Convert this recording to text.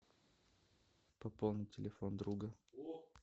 пополнить телефон друга